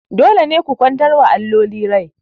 Dole ne ku kwantar wa alloli rai!